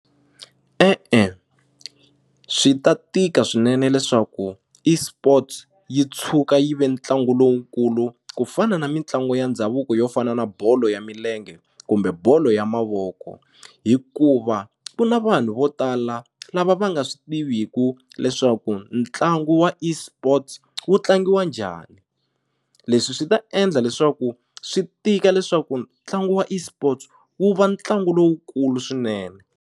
E-e swi ta tika swinene leswaku eSports yi tshuka yi ve ntlangu lowukulu ku fana na mitlangu ya ndhavuko yo fana na bolo ya milenge kumbe bolo ya mavoko hikuva ku na vanhu vo tala lava va nga swi tiviku leswaku ntlangu wa eSports wu tlangiwa njhani leswi swi ta endla leswaku swi tika leswaku ntlangu wa eSports wu va ntlangu lowukulu swinene.